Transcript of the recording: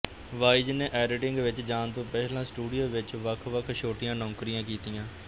wise ਨੇ editing ਵਿੱਚ ਜਾਣ ਤੋਂ ਪਹਿਲਾਂ ਸਟੂਡੀਓ ਵਿੱਚ ਵੱਖਵੱਖ ਛੋਟੀਆਂ ਨੌਕਰੀਆਂ ਕੀਤੀਆਂ